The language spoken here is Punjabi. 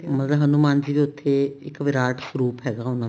ਮਗਰ ਹਨੁਮਾਨ ਜੀ ਦਾ ਉੱਥੇ ਇੱਕ ਵਿਰਾਟ ਸਵਰੂਪ ਹੈਗਾ ਉਹਨਾ ਦਾ